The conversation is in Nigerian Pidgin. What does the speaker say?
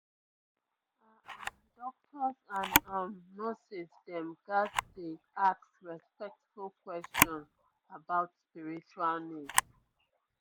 ah ah doctors and um nurses dem ghats dey ask respectful questions about spiritual needs